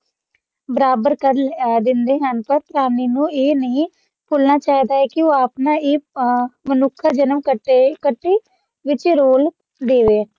ਬਰਾਬਰ ਕੇ ਅ ਦਿੰਦੇ ਹਨ ਪਰ ਸਾਮਿੱਨ ਨੂੰ ਇਹ ਨਹੀਂ ਭੁਲਣਾ ਚਾਹੀਦਾ ਹੈ ਕੇ ਉਹ ਆਪਣਾ ਇਹ ਅ ਮਨੁੱਖ ਜਨਮ ਘਟੇ ਘਟੀ ਵਿਚ ਰੋਲ ਦੇਵੇ